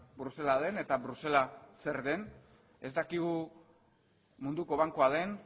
brusela den eta brusela zer den ez dakigu munduko bankua den